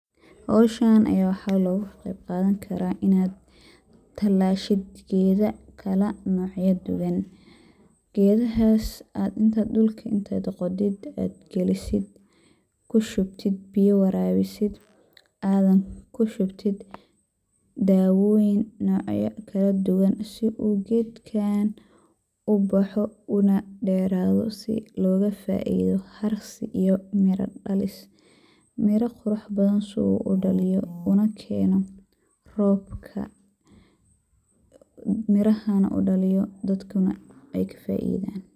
Howshaan waxa logaa qeyb qadaan kara inaad talaasho geda kala nocyaa dhuwaan. gedahas aad intaad aad dhulka qodiid aad galisiid kuu shubtiit biya warabisiid anaad kuu shubtiit dawoyiin nocya kala duwaan sii uu gedkan ubaaxo unaa dheraado sii logaa faido harsii iyo miira dhaalis. miira qurux badan sii uu dhaaliyo unaa keeno robka mirahana uu dhaliiyo dadkana eykaa faidan.